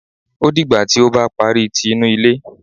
Ó dìgbà tí ó bá parí tí inú ilé